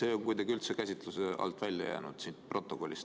See on kuidagi üldse käsitluse alt välja jäänud, vähemalt siit protokollist.